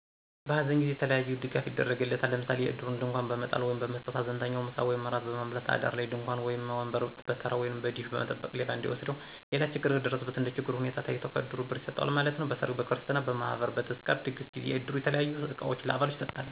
በሃዘን ጊዜ የተለያየ ድጋፍ ይደረግለታል፤ ለምሣሌ የዕድሩን ድንኳን በመጣል ወይም በመሥጠት፣ ሀዘንተኛውን ምሣ ወይም እራት በማብላት፣ አዳር ላይ ድንኳን ወይም ወንበር በተራ ወይንም በደሽ መጠበቅ ሌባ እንዳይወስደው። ሌላ ችግር ከደረሠበትም እንደችግሩ ሁኔታ ታይቶ ከዕድሩ ብር ይሠጠዋል ማለት ነው። በሠርግ፣ በክርሥትና፣ በማህበር፣ በተዝካር ድግስ ጊዜ የዕድሩ የተለያዩ ዕቃዎችን ለአባሉ ይሠጣል።